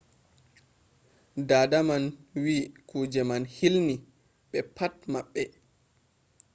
dada man wi kuje man hilni ɓe pat maɓɓe.